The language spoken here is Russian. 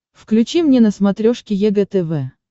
включи мне на смотрешке егэ тв